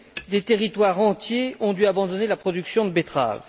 Des territoires entiers ont dû abandonner la production de betteraves.